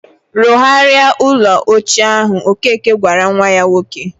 "Rụgharia ụlọ ochie ahụ," ọkeke gwara nwa ya nwoke.